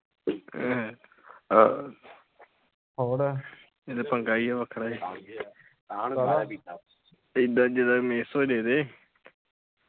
ਇਹ ਤਾ ਪੰਗਾ ਈਆ ਵੱਖਰਾ ਏਦਾਂ ਜਿਦਾ miss ਹੋਜੇ ਤੇ